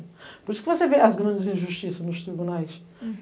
Por isso que você vê as grandes injustiças nos